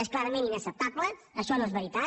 és clarament inacceptable això no és veritat